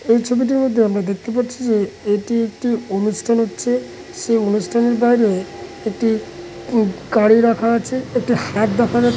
এই ছবিটির মধ্যে আমরা দেখতে পাচ্ছি যে এটি একটি অনুষ্ঠান হচ্ছে। সেই অনুষ্ঠানের বাইরে একটি গাড়ি রাখা আছে। একটু হাত দেখা যা--